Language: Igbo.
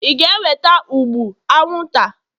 ị ga-eweta ụgbụ anwụnta?